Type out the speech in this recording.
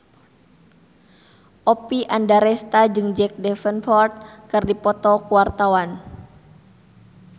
Oppie Andaresta jeung Jack Davenport keur dipoto ku wartawan